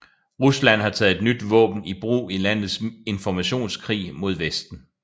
Rusland har taget et nyt våben i brug i landets informationskrig mod Vesten